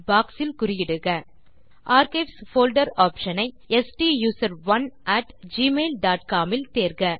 box இல் குறியிடுக archives folder option ஐ ஸ்டூசரோன் அட் gmailcomஇல் தேர்க